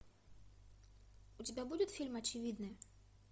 у тебя будет фильм очевидное